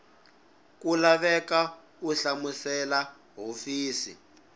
ku laveka u hlamusela hofisi